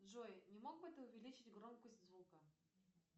джой не мог бы ты увеличить громкость звука